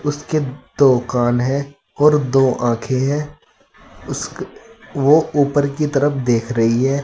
उसके दो कान हैं और दो आंखें हैं उस वो ऊपर की तरफ देख रही है।